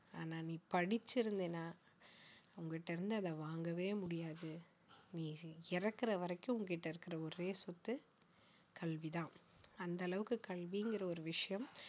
ஆனா நீ படிச்சிருந்தீனா உன்கிட்ட இருந்து அதை வாங்கவே முடியாது நீ இறக்கிற வரைக்கும் உன்கிட்ட இருக்கிற ஒரே சொத்து கல்விதான் அந்த அளவுக்கு கல்விங்கிற ஒரு விஷயம்